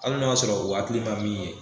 Hali n'o y'a sɔrɔ o hakili ma min ye.